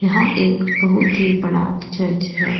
यह एक बहुत ही बड़ा चर्च है।